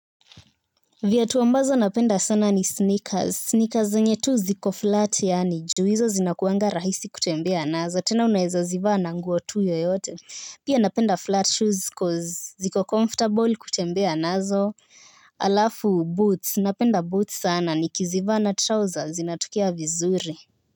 Viatu ambazo napenda sana ni sneakers sneakers zenye tu ziko flat yaani juu hizo zinakuanga rahisi kutembea nazo tena unaweza zivaa na nguo tu yoyote pia napenda flat shoes cause ziko comfortable kutembea nazo. Halafu boots napenda boots sana nikizivaa na trouser zinatokea vizuri.